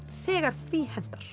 þegar því hentar